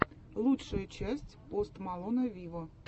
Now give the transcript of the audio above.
лучшая часть пост малона виво